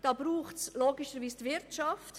Dazu braucht es logischerweise die Wirtschaft.